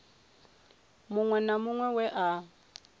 muṅwe na muṅwe we a